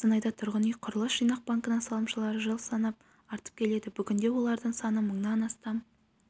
қостанайда тұрғын үй құрылыс жинақ банкінің салымшылары жыл санап артып келеді бүгінде олардың саны мыңнан астам